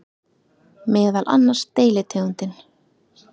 Meðal annars deilitegundin